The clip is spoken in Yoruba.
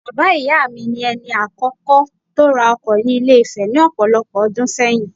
Bàbá ìyá mi, ni ẹni àkọ́kọ́ tó ra ọkọ ni Ilé-Ifẹ̀ ní ọ̀pọ̀lọpọ̀ ọdún ṣẹ́yìn